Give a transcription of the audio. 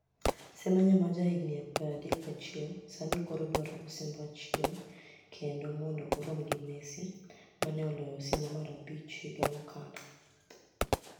Semeniya ma jahigini 31, Saanii koro dwaro osimbo achiel kenide mondoo oromgi Messi, ma ni e oloyo osimbo mar abich higa mokalo.